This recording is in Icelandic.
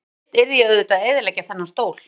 En fyrst yrði ég auðvitað að eyðileggja þennan stól.